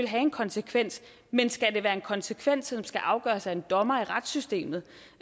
have en konsekvens men skal det være en konsekvens som skal afgøres af en dommer i retssystemet